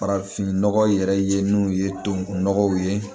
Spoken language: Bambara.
Farafinnɔgɔ yɛrɛ ye n'u ye tubabu nɔgɔw ye